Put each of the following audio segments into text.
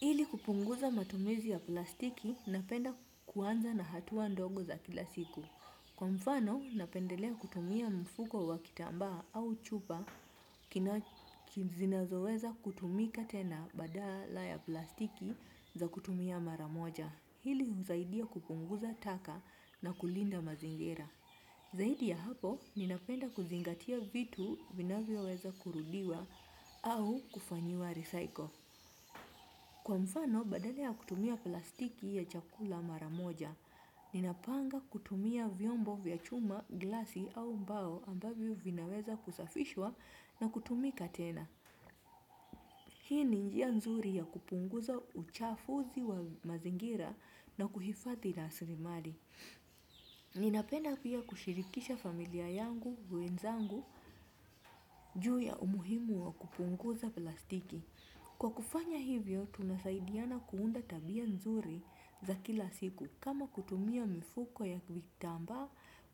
Hili kupunguza matumizi ya plastiki napenda kuanza na hatuwa ndogo za kila siku. Kwa mfano, napendelea kutumia mfuko wa kitamba au chupa kina zinazoweza kutumika tena badala ya plastiki za kutumia maramoja. Hili huzaidia kupunguza taka na kulinda mazingira. Zaidi ya hapo, ninapenda kuzingatia vitu vinavyo weza kurudiwa au kufanyiwa recycle. Kwa mfano, badale ya kutumia plastiki ya chakula maramoja, ninapanga kutumia vyombo vya chuma, glasi au mbao ambavyo vinaweza kusafishwa na kutumika tena. Hii ni njia nzuri ya kupunguza uchafuzi wa mazingira na kuhifathi na asilimali. Ninapena pia kushirikisha familia yangu, wenzangu, juu ya umuhimu wa kupunguza plastiki. Kwa kufanya hivyo, tunasaidiana kuunda tabia nzuri za kila siku kama kutumia mifuko ya vitamba,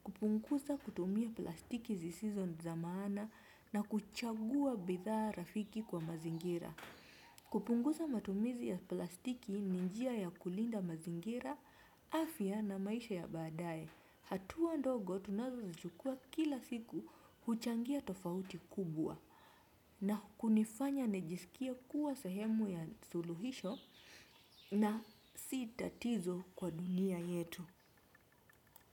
kupunguza kutumia plastiki sizizo zamaana na kuchagua bidhaa rafiki kwa mazingira. Kupunguza matumizi ya plastiki ni njia ya kulinda mazingira, afya na maisha ya badae. Hatuwa ndogo tunazo zichukua kila siku huchangia tofauti kubwa na kunifanya nijisikie kuwa sahemu ya suluhisho na sitatizo kwa dunia yetu.